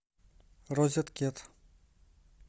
розеткед